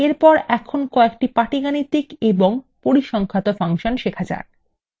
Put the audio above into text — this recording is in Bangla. এরপর এখন কয়েকটি পাটিগাণিতিক এবং পরিসংখ্যাত ফাংশন শেখা যাক